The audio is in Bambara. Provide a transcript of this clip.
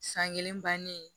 San kelen bannen